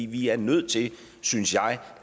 vi er nødt til synes jeg